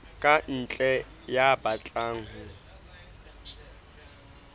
ka ntle ya batlang ho